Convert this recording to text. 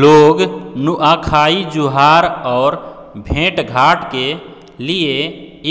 लोग नुआखाई जुहार और भेंटघाट के लिए